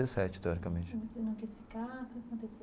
Dezessete teoricamente. Você não quis ficar, o que aconteceu?